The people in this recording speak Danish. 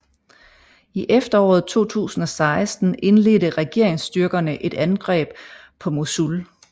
I efteråret 2016 indledte regeringsstyrkerne et angreb på Mosul